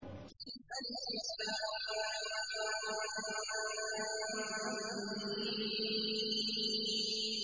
الم